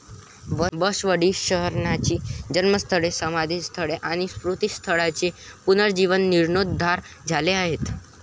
बसवडी शरणांची जन्मस्थळे, समाधिस्थळे आणी स्मृतिस्थळांचे पुनर्जीवन जिर्णोद्धार झाले आहेत.